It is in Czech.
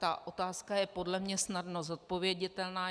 Ta otázka je podle mě snadno zodpověditelná.